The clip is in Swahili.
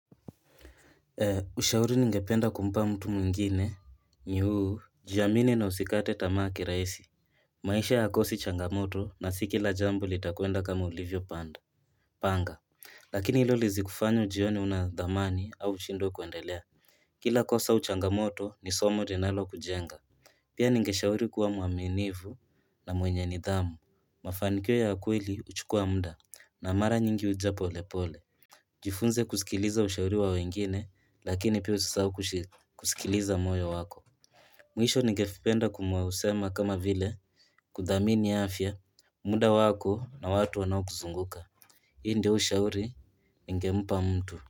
Ushauri ningependa kumpa mtu mwingine, ni huu, jiamini na usikate tamaa kirahisi. Maisha hayakosi changamoto na si kila jambo litakwenda kama ulivyopanda. Panga. Lakini hilo lisikufanye ujione huna dhamani au ushindwe kuendelea. Kila kosa au changamoto ni somo linalokujenga. Pia ningeshauri kuwa mwaminifu na mwenye nidhamu. Mafanikiyo ya ukewili huchukua muda na mara nyingi huja polepole. Jifunze kusikiliza ushauri wa wengine lakini pia usisahau kusikiliza moyo wako Mwisho ningependa kumsema kama vile kudhamini afya, muda wako na watu wanaokuzunguka. Hii ndio ushauri ningempa mtu.